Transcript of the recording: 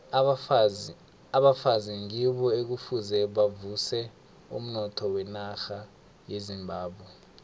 abafazi ngibo ekufuze bavuse umnotho wenarha yezimbabwe